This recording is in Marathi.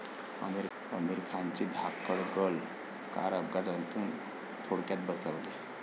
आमिर खानची 'धाकड गर्ल' कार अपघातातून थोडक्यात बचावली